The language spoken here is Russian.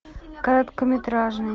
короткометражный